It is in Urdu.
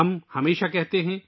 ہم ہمیشہ کہتے ہیں